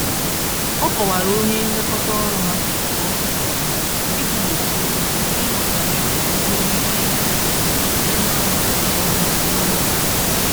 Ọ kọwara onye nlekọta-ọrụ ha k'ọrụ si ága, iji gbochie gbochie nghọtahie nwere ike ịdapụta site narụchaghị ọrụ n'oge